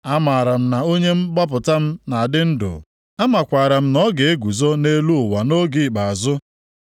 Amara m na onye mgbapụta m na-adị ndụ, amakwaara m na ọ ga-eguzo nʼelu ụwa nʼoge ikpeazụ.